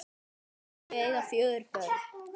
Þau eiga fjögur börn